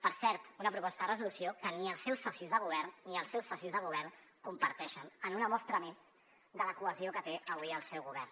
per cert una proposta de resolució que ni els seus socis de govern comparteixen en una mostra més de la cohesió que té avui el seu govern